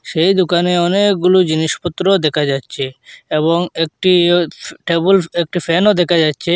সেই দুকানে অনেকগুলো জিনিসপত্র দেকা যাচ্চে এবং একটি ইয়ো কেবল একটি ফ্যানও দেকা যাচ্চে।